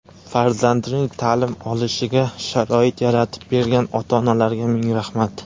farzandining ta’lim olishiga sharoit yaratib bergan ota-onalarga ming rahmat.